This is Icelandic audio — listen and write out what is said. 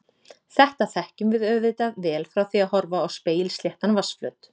Þetta þekkjum við auðvitað vel frá því að horfa á spegilsléttan vatnsflöt.